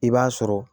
I b'a sɔrɔ